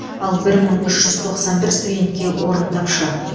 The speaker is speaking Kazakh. ал бір мың үш жүз тоқсан бір студентке орын тапшы